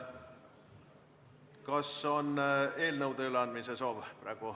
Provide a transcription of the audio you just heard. Kas on veel eelnõude üleandmise soovi?